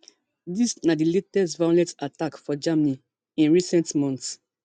dis na di latest violent attack for germany in recent months